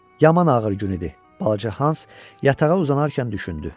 Yaman ağır gün idi, balaca Hans yatağa uzanarkən düşündü.